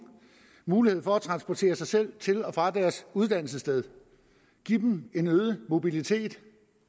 mulighed for at transportere sig selv til og fra deres uddannelsessted give dem en øget mobilitet